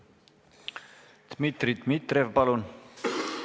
Dmitri Dmitrijev, palun!